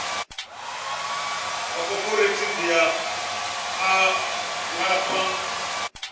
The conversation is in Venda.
wa khophorethivi a nga fha